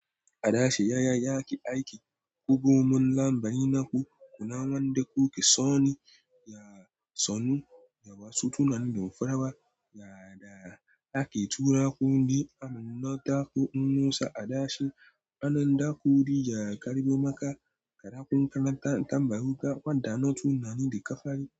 A dashi, yaya yake aiki? Ku komin lambaye naku, kuna wanda kuke so ne, ya sanu, ya wasu tunanin farawa, ya da ake tura ku, yi aminnata ku nusa a dashi. Anan da ku wuri ya karɓe maka, kaɗa kun karanta tambayoyin ka, faɗa notunnani da ka fari.